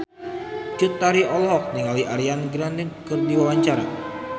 Cut Tari olohok ningali Ariana Grande keur diwawancara